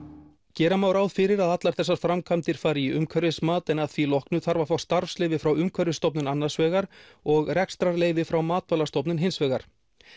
gera má ráð fyrir að allar þessar framkvæmdir fari í umhverfismat en að því loknu þarf að fá starfsleyfi frá Umhverfisstofnun annars vegar og rekstrarleyfi frá Matvælastofnun hins vegar